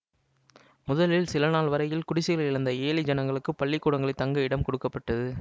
முதலில் சிலநாள் வரையில் குடிசைகளை இழந்த ஏழை ஜனங்களுக்குப் பள்ளிக்கூடங்களில் தங்க இடம் கொடுக்க பட்டது